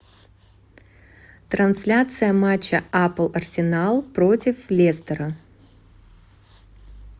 трансляция матча апл арсенал против лестера